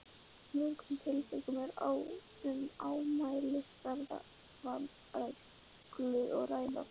mörgum tilvikum er um ámælisverða vanrækslu að ræða.